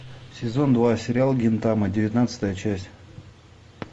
сезон два сериал гинтама девятнадцатая часть